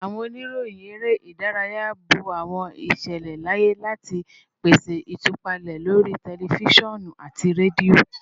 Awọn oniroyin ere idaraya bo awọn iṣẹlẹ laaye ati pese itupalẹ lori tẹlifisiọnu ati redio